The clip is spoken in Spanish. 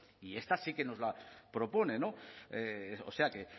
y esta sí que nos la propone o sea que